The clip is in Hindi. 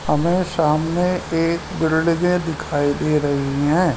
हमें सामने एक बिल्डिंगे दिखाई दे रहीं हैं।